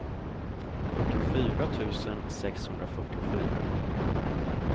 fyrtiofyra tusen sexhundrafyrtiofyra